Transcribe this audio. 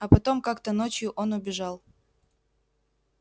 а потом как-то ночью он убежал